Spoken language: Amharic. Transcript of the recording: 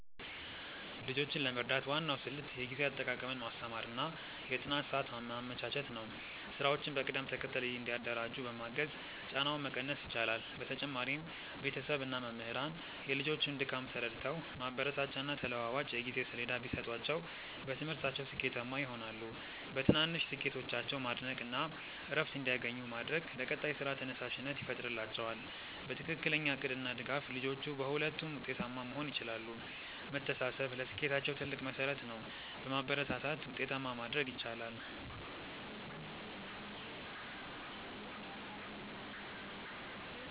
ልጆችን ለመርዳት ዋናው ስልት የጊዜ አጠቃቀምን ማስተማር እና የጥናት ሰዓት ማመቻቸት ነው። ስራዎችን በቅደም ተከተል እንዲያደራጁ በማገዝ ጫናውን መቀነስ ይቻላል። በተጨማሪም ቤተሰብ እና መምህራን የልጆቹን ድካም ተረድተው ማበረታቻና ተለዋዋጭ የጊዜ ሰሌዳ ቢሰጧቸው በትምህርታቸው ስኬታማ ይሆናሉ። በትናንሽ ስኬቶቻቸው ማድነቅ እና እረፍት እንዲያገኙ ማድረግ ለቀጣይ ስራ ተነሳሽነት ይፈጥርላቸዋል። በትክክለኛ እቅድ እና ድጋፍ ልጆቹ በሁለቱም ውጤታማ መሆን ይችላሉ። መተሳሰብ ለስኬታቸው ትልቅ መሠረት ነው። በማበረታታት ውጤታማ ማድረግ ይቻላል።